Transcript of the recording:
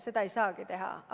Seda ei saagi teha.